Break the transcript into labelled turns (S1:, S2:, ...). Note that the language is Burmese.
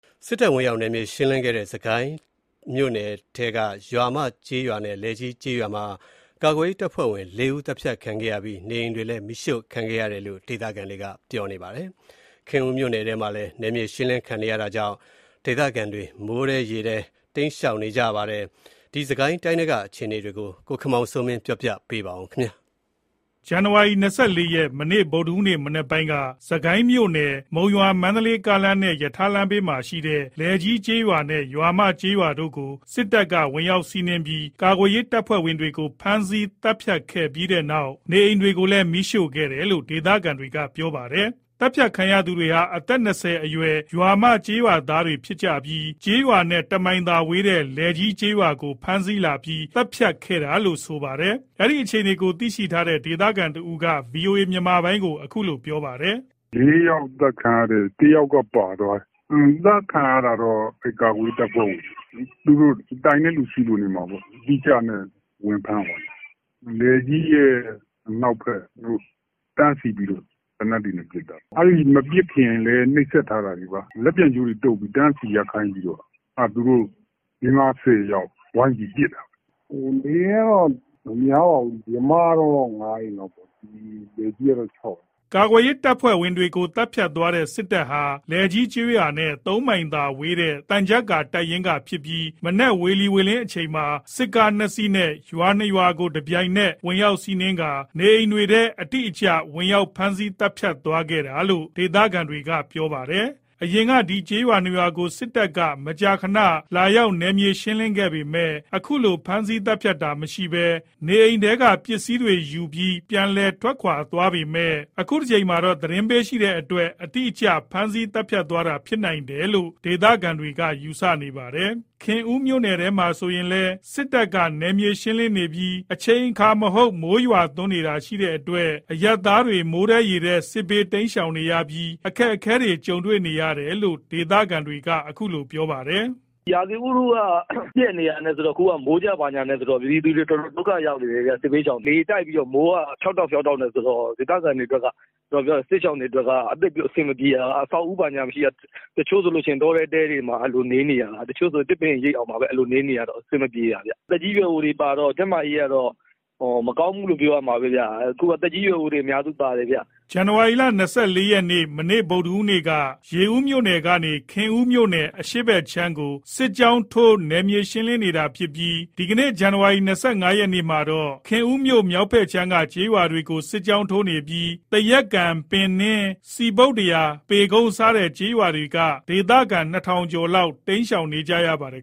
S1: စစ်တပ်ဝင်ရောက် နယ်မြေရှင်းလင်းခဲ့တဲ့ စစ်ကိုင်းမြို့နယ်ထဲက ရွာမကျေးရွာနဲ့ လယ်ကြီးကျေးရွာမှာ ကာကွယ်ရေး တပ်ဖွဲ့ဝင် ၄ ဦး သတ်ဖြတ်ခံခဲ့ရပြီး နေအိမ်တွေလည်း မီးရှို့ခံခဲ့ရတယ်လို့ ဒေသခံတွေက ပြောပါတယ်။ ခင်ဦးမြို့နယ်ထဲမှာလည်း နယ်မြေရှင်းလင်းခံနေရတာကြောင့် ဒေသခံတွေ မိုးထဲရေထဲ တိမ်းရှောင်နေရပါတယ်။ စစ်ကိုင်းတိုင်းထဲက အခြေအနေတွေကို ကိုခင်မောင်စိုးမင်းက ပြောပြပါမယ်။ ဇန်နဝါရီ ၂၄ ရက်
S2: ဗုဒ္ဓဟူးနေ့ မနက်ပိုင်းမှာ စစ်ကိုင်းမြို့ မုံရွာ-မန္တလေး ကားလမ်းနဲ့ ရထားလမ်းဘေးမှာရှိတဲ့ လယ်ကြီးကျေးရွာနဲ့ ရွာမကျေးရွာတို့ကို စစ်တပ်က ဝင်ရောက်စီးနင်းပြီး ကာကွယ်ရေးတပ်ဖွဲ့ဝင်တွေကို ဖမ်းဆီးသတ်ဖြတ်ခဲ့ပြီးတော့ နေအိမ်တွေလည်း မီးရှို့ခဲ့တယ်လို့ ဒေသခံတွေက ပြောပါတယ်။ သတ်ဖြတ်ခံရသူတွေဟာ အသက် ၂၀ ကျော်အရွယ် ရွာမကျေးရွာသားတွေဖြစ်ပြီး ကျေးရွာနဲ့ ၁ မိုင်သာဝေးတဲ့ လယ်ကြီးကျေးရွာကို ဖမ်းဆီးလာပြီး သတ်ဖြတ်ခဲ့တာလို့လည်း ဆိုပါတယ်။ အဲ့ဒီအခြေအနေကို သိရှိတဲ့ ဒေသခံတဦးက ဗွီအိုအေ မြန်မာပိုင်းကို အခုလို ပြောပြပါတယ်
S3: ။ “၄ ယောက် အသတ်ခံရတယ်။ ၁ ယောက်က ပါသွားတယ်။ သတ်ခံရတာတော့ ကာကွယ်ရေး တပ်ဖွဲ့ဝင်တွေ သူတို့ကို တိုင်တဲ့သူရှိလို့ နေမှာပေါ့။ အတိအကျနဲ့ဝင်ဖမ်းသွားတာ။ လယ်ကြီး ရဲ့ အနောက်ဖက်မှာ တန်းစီပြီးတော့ သေနတ်တွေနဲ့ ပစ်သွားတာ။ မပစ်ခင်လည်း နှိပ်စက်ထားတာတွေပေါ့။ လက်ပြန်ကြိုးတုပ်ပြီး တန်းစီရပ်ခိုင်းပြီးတော့ သူတို့ ၄-၅-၁၀ ယောက် ဝိုင်းပြီးတော့ ပစ်တာ။ နေအိမ်ကတော့ မများပါဘူး။ ရွာမကတော့ ၅ အိမ်လောက်ပေါ့။ လည်ကြီးကတော့ ၆ အိမ်”
S2: ကာကွယ်ရေးတပ်ဖွဲ့ဝင်တွေကို သတ်ဖြတ်သွားတဲ့ စစ်တပ်ဟာ လည်ကြီးကျေးရွာနဲ့ ၃ မိုင်ခွဲသာဝေးတဲ့ သံချပ်ကာတပ်ရင်းက ဖြစ်ပြီး မနက်ဝေလီဝေလင်းအချိန်မှာ စစ်ကား ၂ စီးနဲ့ ရွာ ၂ ရွာကို တပြိုင်နက် ဝင်ရောက်စီးနင်းကာ နေအိမ်တွေထဲ အတိအကျဝင်ရောက်ဖမ်းဆီးသတ်ဖြတ်သွားတာလို့လည်း ဒေသခံတွေက ဆိုပါတယ်။ အရင်က ဒီကျေးရွာ ၂ ရွာကို စစ်တပ်က မကြာခဏ လာရောက်နယ်မြေရှင်းလင်းပေမယ့် အခုလို ဖမ်းဆီးသတ်ဖြတ်တာမရှိဘဲ နေအိမ်တွေထဲ ပစ္စည်းတွေယူပြီး ပြန်လည်ထွက်ခွါသွားပေမယ့် အခုတကြိမ်မှာတော့ သတင်းပေးရှိတဲ့အတွက် အတိအကျ ဖမ်းဆီးသွားဖြတ်သွားတာဖြစ်နိုင်တယ်လို့ ဒေသခံတွေက ယူဆနေပါတယ်။ ခင်ဦးမြို့နယ်ထဲမှာဆိုရင်လည်း စစ်တပ်က နယ်မြေရှင်းလင်းနေပြီး အချိန်အခါမဟုတ် မိုးရွာသွန်းတာရှိတဲ့အတွက် အရပ်သားတွေ မိုးထဲရေထဲ စစ်ဘေးတိမ်းရှောင်နေရပြီး ခက်ခဲနေတယ်လို့ ဒေသခံတွေက အခုလို ပြောပြပါတယ်။
S4: “ရာသီဥတုက ပျက်နေတာနဲ့ဆိုတော့ မိုးကျဘာညာနဲ့ဆိုတော့ ပြည်သူတွေ တော်တော်ဒုက္ခရောက်နေတယ်။ စစ်ဘေးရှောင်တွေ လေတိုက်ပြီးတော့ မိုးက ဖျောက်တောက် ဖျောက်တောက်ဆိုတော့ ဒေသခံတွေအတွက်က စစ်ရှောင်တွေအတွက်က အဆင်မပြေတာ အဆောက်အဦး ဘာညာမရှိတာ တချို့ဆို တောထဲ တဲတွေထဲမှာ နေနေရတာ။ တချို့ဆို သစ်ပင်အရိပ်အောက်မှာပဲ နေနေရတော့ အဆင်မပြေတာခင်ဗျ။ သက်ကြီးရွယ်အိုတွေပါတော့ ကျန်းမာရေးက မကောင်းဘူးလို့ပဲ ပြောရမှာပဲ။ အခုက သက်ကြီးရွယ်အို အများစုပါတယ်။”
S2: ဇန်နဝါရီ ၂၄ ရက်က ရေဦးမြို့ကနေ ခင်ဦးအရှေ့ဘက်အခြမ်းကို စစ်ကြောင်းထိုး နယ်မြေရှင်းလင်းနေတာဖြစ်ပြီး ဇန်နဝါရီ ၂၅ ရက်မှာတော့ ခင်ဦးမြို့ မြောက်ဖက်ခြမ်းက ကျေးရွာတွေကို စစ်ကြောင်းထိုးနေပြီး သရက်ကန်၊ ပင်နင်း၊ စည်ပုတ္တရာ၊ ပေကုန်း စတဲ့ကျေးရွာတွေက ဒေသခံ ၂၀၀၀ လောက် တိမ်းရှောင်နေကြရပါတယ်